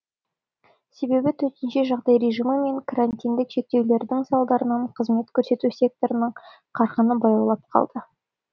себебі төтенше жағдай режимі мен карантиндік шектеулердің салдарынан қызмет көрсету секторының қарқыны баяулап қалды